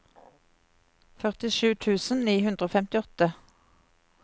førtisju tusen ni hundre og femtiåtte